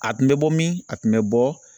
A tun bɛ bɔ min? A tun bɛ bɔ